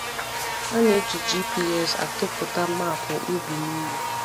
A na-eji A na-eji GPS atụpụta maapụ ubi niile.